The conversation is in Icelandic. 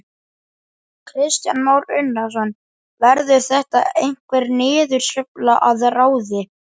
Kristján Már Unnarsson: Verður þetta einhver niðursveifla að ráði?